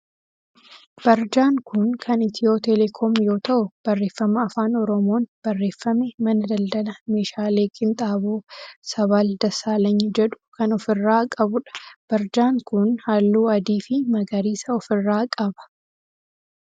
Barjaan kun kan Itiyoo telekoom yoo ta'u barreeffama afaan oromoon barreeffame mana daldala meeshaalee qinxaaboo sabal Dassaalany jedhu kan of irraa qabudha. Barjaan kun halluu adii fi magariisa of irraa qaba.